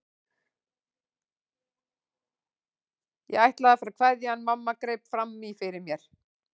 Ég ætlaði að fara að kveðja en mamma greip fram í fyrir mér.